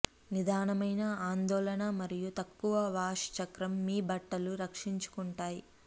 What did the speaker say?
నిదానమైన ఆందోళన మరియు తక్కువ వాష్ చక్రం మీ బట్టలు రక్షించుకుంటాయి